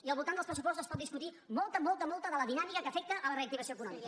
i al voltant dels pressupostos es pot discutir molta molta de la dinàmica que afecta la reactivació econòmica